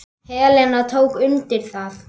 Helena tók undir það.